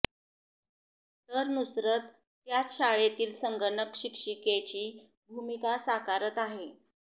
तर नुसरत त्याच शाळेतील संगणक शिक्षिकेची भूमिका साकारत आहे